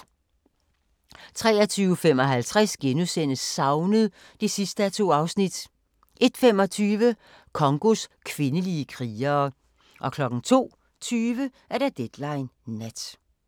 23:55: Savnet (2:2)* 01:25: Congos kvindelige krigere 02:20: Deadline Nat